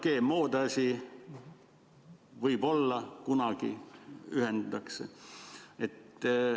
GMO‑de asi – võib-olla kunagi ühendatakse.